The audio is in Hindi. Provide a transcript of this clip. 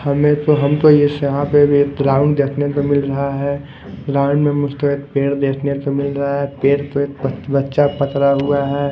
हमें तो हम तो यस यहाँ पे ग्राउंड देखने को मिल रहा हैं ग्राउंड में मुस्तेद पेड़ देखने को मिल रहा हैं पेड़ पे बच्चा पकड़ा हुआ है।